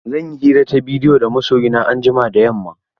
Zan yi hira ta bidiyo da masoyi na anjima da yamma.